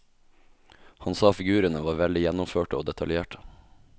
Han sa figurene var veldig gjennomførte og detaljerte.